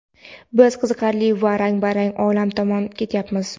biz qiziqarli va rang-barang olam tomon ketyapmiz.